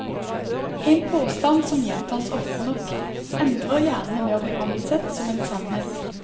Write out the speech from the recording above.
En påstand som gjentas ofte nok, ender gjerne med å bli ansett som en sannhet.